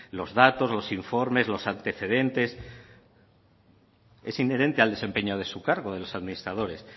los datos los informes los antecedentes es inherente al desempeño de su cargo de los administradores